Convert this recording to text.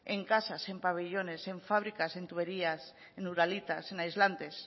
en casas en pabellones en fábricas en tuberías en uralitas en aislantes